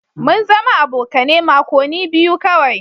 Mun zama abokane makoni biyu kawai.